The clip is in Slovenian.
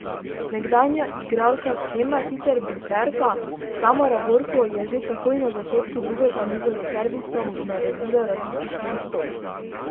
Nekdanja igralka Keme, sicer blokerka, Tamara Borko, je že takoj na začetku drugega niza s servisom naredila razliko štirih točk.